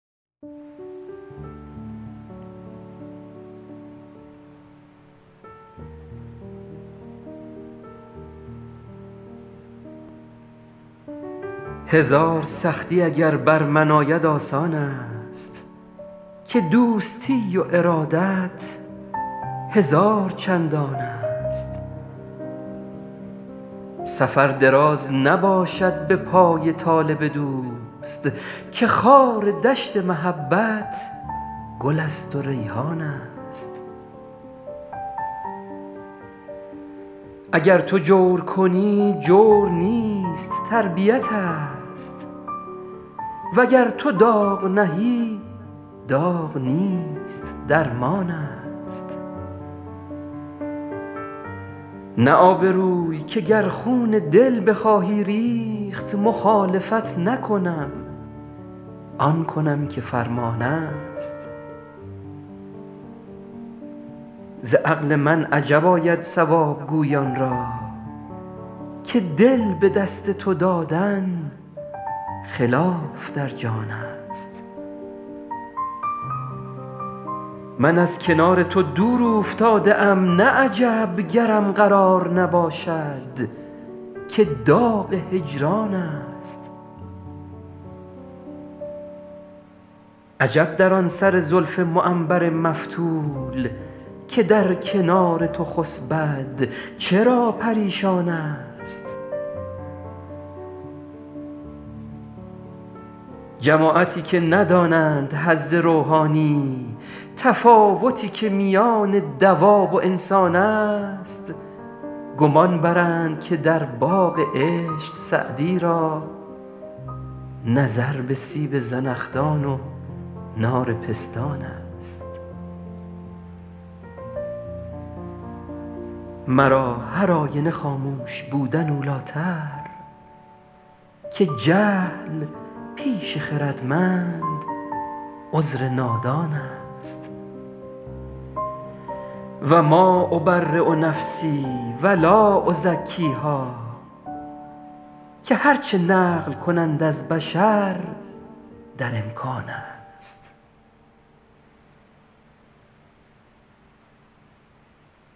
هزار سختی اگر بر من آید آسان است که دوستی و ارادت هزار چندان است سفر دراز نباشد به پای طالب دوست که خار دشت محبت گل است و ریحان است اگر تو جور کنی جور نیست تربیت ست وگر تو داغ نهی داغ نیست درمان است نه آبروی که گر خون دل بخواهی ریخت مخالفت نکنم آن کنم که فرمان است ز عقل من عجب آید صواب گویان را که دل به دست تو دادن خلاف در جان است من از کنار تو دور اوفتاده ام نه عجب گرم قرار نباشد که داغ هجران است عجب در آن سر زلف معنبر مفتول که در کنار تو خسبد چرا پریشان است جماعتی که ندانند حظ روحانی تفاوتی که میان دواب و انسان است گمان برند که در باغ عشق سعدی را نظر به سیب زنخدان و نار پستان است مرا هرآینه خاموش بودن اولی تر که جهل پیش خردمند عذر نادان است و ما أبری نفسی و لا أزکیها که هر چه نقل کنند از بشر در امکان است